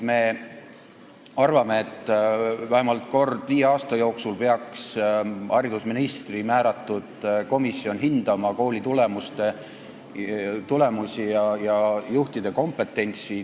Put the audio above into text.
Me arvame, et vähemalt kord viie aasta jooksul peaks haridusministri määratud komisjon hindama koolide tulemusi ja juhtide kompetentsi.